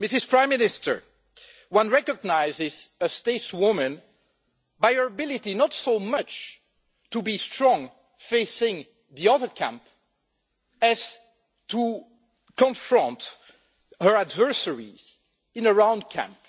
Prime Minister, one recognises a stateswoman by her ability not so much by being strong facing the other camp, but by confronting her adversaries in a round camp.